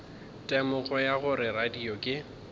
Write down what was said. temogo ya gore radio ke